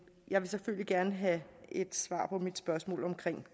jeg vil selvfølgelig gerne have et svar på mit spørgsmål om